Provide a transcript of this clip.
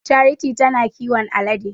Charity ta na kiwon alade.